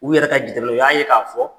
U yɛrɛ ka jateminɛw, u y'a ye k'a fɔ